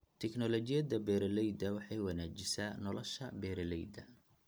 Tignoolajiyada beeralayda waxay wanaajisaa nolosha beeralayda.